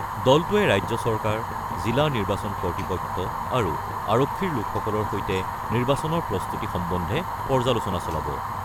দলটোৱে ৰাজ্য চৰকাৰ, জিলা নিৰ্বাচন কৰ্তৃপক্ষ আৰু আৰক্ষীৰ লোকসকলৰ সৈতে নিৰ্বাচনৰ প্ৰস্তুতি সম্বন্ধে পৰ্যালোচনা চলাব।